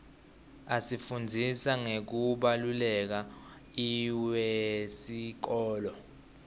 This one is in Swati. asifundzisa ngekubaluleka iwesikolo